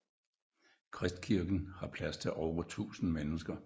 Kristkirken har plads til over 1000 mennesker